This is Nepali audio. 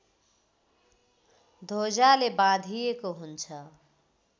ध्वजाले बाँधिएको हुन्छ